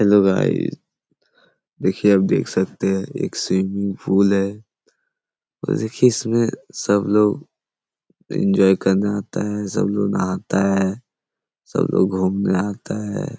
Hello guys देखिऐ आप देख सकते है एक स्विमिंग पूल है और देखिए इस में सब लोग इंजॉय करने आते है सब लोग नहाता है सब लोग घुमने आता है।